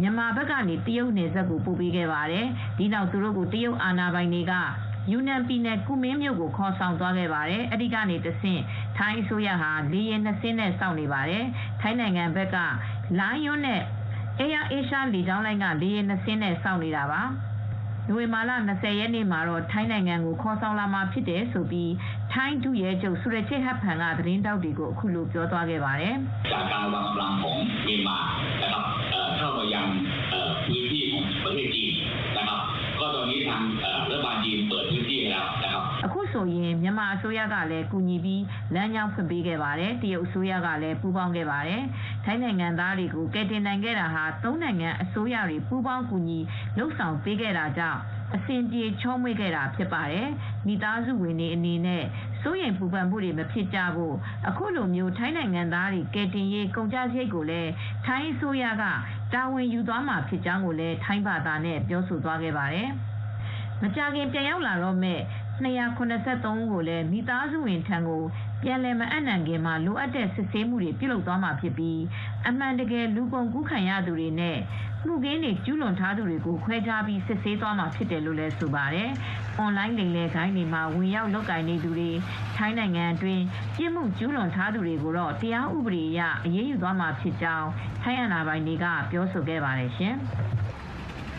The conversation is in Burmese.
မြန်မာကနေ တရုတ်နယ်စပ်ကို ပို့ပေးခဲ့ပါတယ်။ ဒီနောက် သူတို့ကို တရုတ်အာဏာပိုင်တွေက ယူနန်ပြည်နယ် ကူမင်းမြို့ကို ခေါ်ဆောင်သွားခဲ့ပါတယ်။ ကူမင်းမြို့မှာ ထိုင်းအစိုးရက လေယာဉ် ၂ စင်းနဲ့ ထိုင်းနိုင်ငံဘက်က Lion နဲ့ Air Asia လေကြောင်းလိုင်းက လေယာဉ် ၂ စင်းနဲ့ စောင့်တာပါ ။နိုဝင်ဘာလ ၂၀ ရက်နေ့မှာတော့ ထိုင်းနိုင်ငံကို ခေါ်လာမှာဖြစ်ကြောင်း ထိုင်းဒုရဲချုပ် ဆူရချေ့ဟတ်ဖန်က သတင်းထောက်တွေကိုအခုလိုပြောပါတယ်။ “အခုဆိုရင်မြန်မာအစိုးရကလည်း ကူညီပြီးလမ်းကြောင်းဖွင့်ပေးခဲ့ပါတယ်။ တရုတ်အစိုးရလည်း ပူးပေါင်းခဲ့ပါတယ်။ ထိုင်းနိုင်ငံသားတွေကိုကယ်တင်နိုင်ခဲ့တာဟာ သုံးနိုင်ငံအစိုးရတွေ ပူးပေါင်းကူညီလုပ်ဆောင်ပေးခဲ့တာကြောင့် အဆင်ပြေ ချောမွေ့ခဲ့ပါတယ်။ မိသားစုဝင်တွေအနေနဲ့ စိုးရိမ်ပူပန်မှုမဖြစ်ကြဖို့ အခုလို ထိုင်းနိုင်ငံသားတွေကို ကယ်တင်တဲ့ကုန်ကျစရိတ်ကိုလည်း ထိုင်းအစိုးရကပဲ တာဝန်ယူခဲ့ပါတယ်။” လို့ ထိုင်းဘာသာနဲ့ ပြောသွားခဲ့တာပါ။ မကြာခင်ပြန်ရောက်လာတော့မယ် ၂၇၃ ဦးကိုလည်း မိသားစုဝင်တွေဆီ ပြန်လည်မအပ်နှံခင် လိုအပ်သမျှစစ်ဆေးမှုပေးသွားမှာဖြစ်ပြီး ဒီစစ်ဆေးမှုမှာ အမှန်တကယ် လူကုန်ကူးခံရသူနဲ့ မှုခင်းတွေ ကျူးလွန်ထားသူတွေကိုခွဲခြားပြီးတော့လည်း စစ်ဆေးသွားမှာဖြစ်တယ်လို့ဆိုပါတယ်။ အွန်လိုင်း လိမ်လည်ဂိုဏ်းတွေမှာ ဝင်ရောက်လုပ်ကိုင်နေသူတွေနဲ့ ထိုင်းနိုင်ငံအတွင်းပြစ်မှုကျူလွန်ထားသူတွေကိုတော့ တရားဥပဒေအရ အရေးယူသွားမှာဖြစ်ကြောင်း ထိုင်းအာဏာပိုင်တွေက ပြောထားပါတယ်ရှင်။